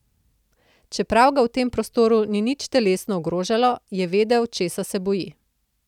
Čeprav ga v tem prostoru ni nič telesno ogrožalo, je vedel, česa se boji.